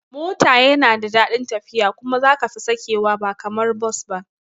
Mota yana da dadin tafiya kuma za kafi sakewa ba kamar Bus ba